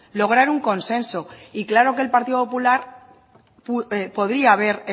lograr un consenso y claro que el partido popular podría haber